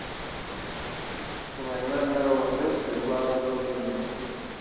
война миров зэт светланы дружининой